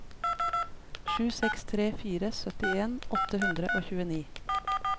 sju seks tre fire syttien åtte hundre og tjueni